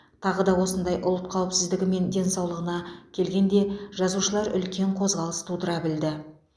тағы да осындай ұлт қауіпсіздігі мен денсаулығына келгенде жазушылар үлкен қозғалыс тудыра білді